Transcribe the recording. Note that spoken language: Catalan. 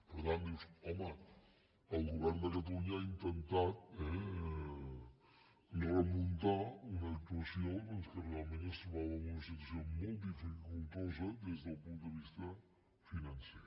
per tant dius home el govern de catalunya ha intentat eh remuntar una actuació doncs que realment es trobava en una situació molt dificultosa des del punt de vista financer